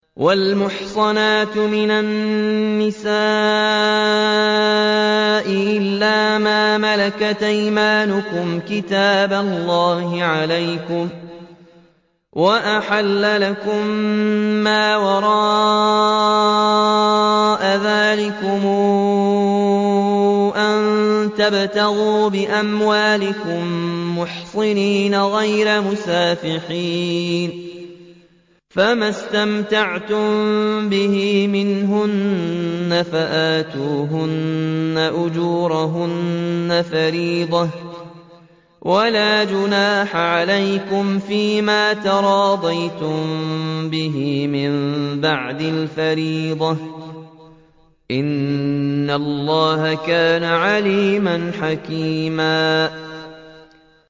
۞ وَالْمُحْصَنَاتُ مِنَ النِّسَاءِ إِلَّا مَا مَلَكَتْ أَيْمَانُكُمْ ۖ كِتَابَ اللَّهِ عَلَيْكُمْ ۚ وَأُحِلَّ لَكُم مَّا وَرَاءَ ذَٰلِكُمْ أَن تَبْتَغُوا بِأَمْوَالِكُم مُّحْصِنِينَ غَيْرَ مُسَافِحِينَ ۚ فَمَا اسْتَمْتَعْتُم بِهِ مِنْهُنَّ فَآتُوهُنَّ أُجُورَهُنَّ فَرِيضَةً ۚ وَلَا جُنَاحَ عَلَيْكُمْ فِيمَا تَرَاضَيْتُم بِهِ مِن بَعْدِ الْفَرِيضَةِ ۚ إِنَّ اللَّهَ كَانَ عَلِيمًا حَكِيمًا